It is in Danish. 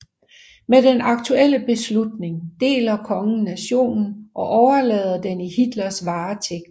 Med den aktuelle beslutning deler kongen nationen og overlader den i Hitlers varetægt